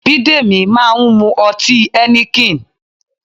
Bidemi máa ń mu ọtí Heineken